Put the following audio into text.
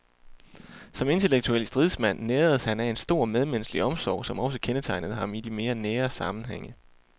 Som intellektuel stridsmand næredes han af en stor medmenneskelig omsorg, som også kendetegnede ham i de mere nære sammenhænge.